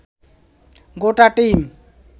গোটা টিম